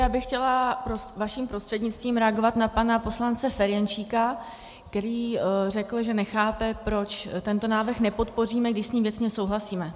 Já bych chtěla vaším prostřednictvím reagovat na pana poslance Ferjenčíka, který řekl, že nechápe, proč tento návrh nepodpoříme, když s ním věcně souhlasíme.